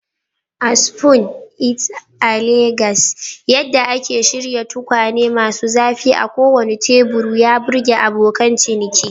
A Spoon It a Legas, yadda ake shirya tukwane masu zafi a kowane teburi ya burge abokan ciniki.